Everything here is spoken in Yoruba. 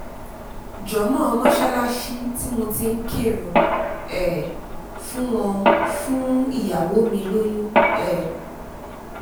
jan-mo-on mọ́sálásí tí mo ti ń kírun um fún wọn fún ìyàwó mi lóyún um